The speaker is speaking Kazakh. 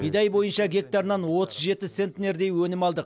бидай бойынша гектарынан отыз жеті центнердей өнім алдық